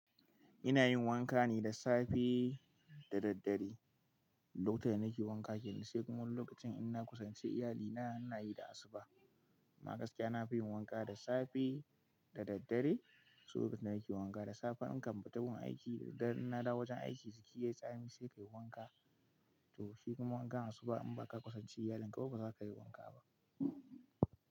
Ina yin wanka ne da safe da daddare. Lokacin da nake wanka kenan sai kuma wani lokacin ina kusanci iyali na ina yi da asuba. Na gaskiya, na fi yin wanka da safe da daddare. To lokacin da nake wanka da safe ankan fita gun aiki da daddare ina dawo wajen aiki, jiki yayi tsami sai kayi wanka. To shi kuma wanka asuba in ba ka kusance iyalin ka ba ba za ka yi wanka ba.